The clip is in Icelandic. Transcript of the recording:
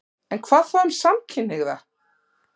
En hvað þá um samkynhneigða?